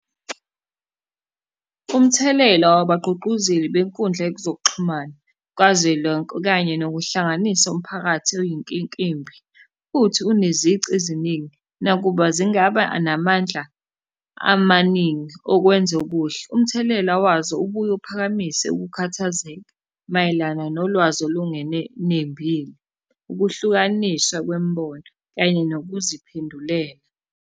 Umthelela wabagqugquzeli benkundla yezokuxhumana kazwelonke kanye nokuhlanganisa umphakathi oyinkinkimbi, futhi unezici eziningi. Nakuba zingaba namandla amaningi okwenza okuhle, umthelela wazo ubuye uphakamise ukukhathazeka mayelana nolwazi olungenenembile, ukuhlukaniswa kwemibono, kanye nokuziphendulela.